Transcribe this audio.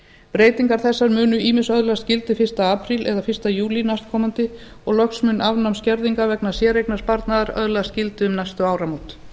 breytingar þessar munu ýmist öðlast gildi fyrsta apríl eða fyrsta júlí næstkomandi og loks mun afnám skerðingar vegna séreignarsparnaðar öðlast gildi um næstu áramót